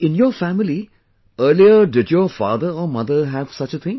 In your family, earlier did your father or mother have such a thing